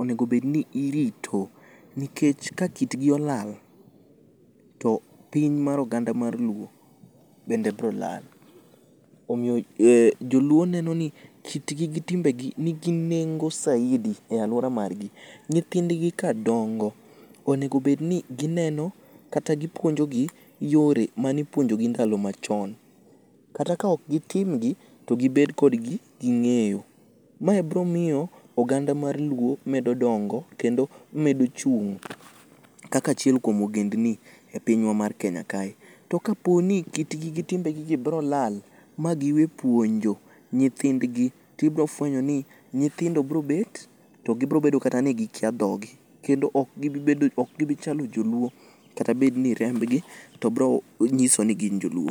onego bed ni irito, nikech ka kit gi olal to piny mar oganda mar luo bende bro lal. Omiyo joluo neno ni kitgi gi timbe gi nigi nengo saidi e alwora margi. Nyithind gi ka dongo, onego bed ni gineno kata gipuonjo gi yore mane ipuonjo gi ndalo machon. Kata ka ok gitim gi, to gibed kod gi ging'eyo. Mae biro miyo oganda mar luo medo dongo kendo medo chung' kaka achiel kuom ogendni e pinywa mar Kenya kae. To ka po ni kitgi gi timbegi gi biro lal, ma giwe puonjo nyithindgi, tibiro fwenyo ni nyithindo biro beto to gibobedo kata ni gikya dhog gi. Kendo ok gibi chalo joluo kata bed ni rembgi to biro nyiso ni gin joluo.